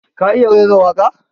Ka iya raira waƙa?